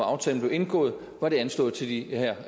aftalen blev indgået var det anslået til de